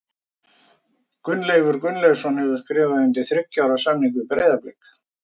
Gunnleifur Gunnleifsson hefur skrifað undir þriggja ára samning við Breiðablik.